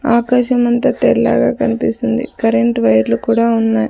ఆకాశం అంతా తెల్లగా కనిపిస్తుంది కరెంటు వైర్లు కూడా ఉన్నాయి.